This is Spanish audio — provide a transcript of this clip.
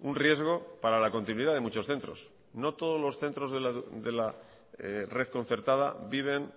un riesgo para la continuidad de muchos centros no todos los centros de la red concertada viven